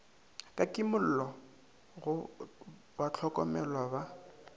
ka kimollo go bahlokomelwa ba